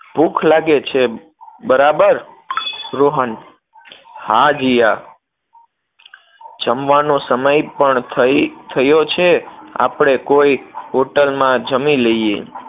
ભૂખ લાગે છે, બરાબર? રોહન હા જીયા, જમવાનો સમય પણ થઇ, થયો છે, આપણે કોઈ hotel માં જમી લઈએ